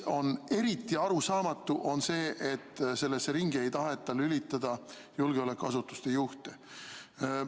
Eriti arusaamatu on see, et sellesse ringi ei taheta lülitada julgeolekuasutuste juhte.